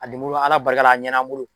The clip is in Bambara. A lemuru ala barika la a ɲɛn'an bolo